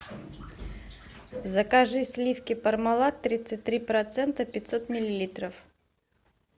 закажи сливки пармалат тридцать три процента пятьсот миллилитров